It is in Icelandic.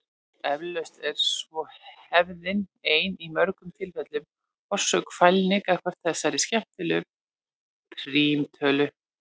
Eflaust er svo hefðin ein í mörgum tilfellum orsök fælni gagnvart þessari skemmtilegu prímtölu.